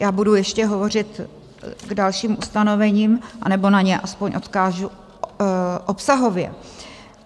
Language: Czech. Já budu ještě hovořit k dalším ustanovením, anebo na ně aspoň odkážu obsahově.